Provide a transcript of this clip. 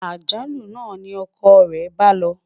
àjálù nà ní ọkọ re bá ló